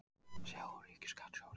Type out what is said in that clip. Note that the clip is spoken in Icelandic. Sjá: Ríkisskattstjóri.